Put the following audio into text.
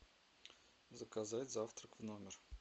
заказать завтрак в номер